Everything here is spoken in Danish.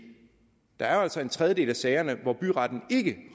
der altså er en tredjedel af sagerne hvor byretten ikke